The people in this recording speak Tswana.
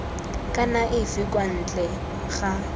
kana efe kwa ntle ga